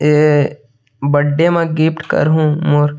ये बर्थडे म गिफ्ट कर हु मोर --